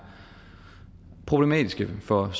problematiske for